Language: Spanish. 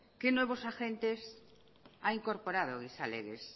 qué nuevos agentes ha incorporado gizalegez